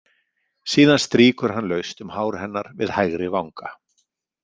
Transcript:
Síðan strýkur hann laust um hár hennar við hægri vanga.